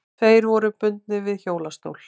Tveir voru bundnir við hjólastól.